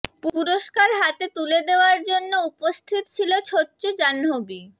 পুরস্কার হাতে তুলে দেওয়ার জন্য উপস্থিত ছিল ছোচ্চ জাহ্নবী